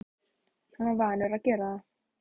Hann var vanur að gera það.